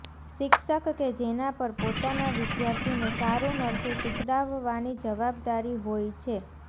શિક્ષક કે જેના પર પોતાના વિદ્યાર્થીને સારુ નરસુ શિખડાવવાની જવાબદારી હોઈ છે